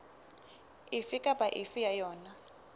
efe kapa efe ya yona